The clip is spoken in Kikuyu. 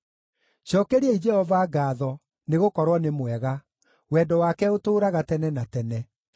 Cookeriai Jehova ngaatho, nĩgũkorwo nĩ mwega; wendo wake ũtũũraga tene na tene.